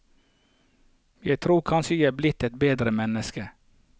Jeg tror kanskje jeg er blitt et bedre menneske.